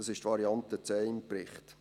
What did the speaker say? Das ist im Bericht die Variante